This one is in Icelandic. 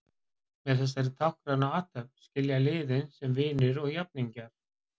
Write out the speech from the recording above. Með þessari táknrænu athöfn skilja liðin sem vinir og jafningjar.